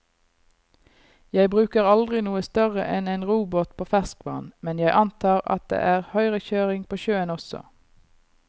Jeg bruker aldri noe større enn en robåt på ferskvann, men jeg antar at det er høyrekjøring på sjøen også.